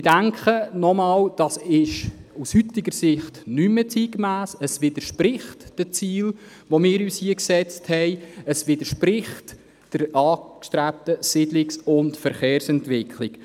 Aus heutiger Sicht ist das nicht mehr zeitgemäss, es widerspricht den Zielen, die wir uns hier gesetzt haben, und es entspricht der angestrebten Siedlungs- und Verkehrsentwicklung.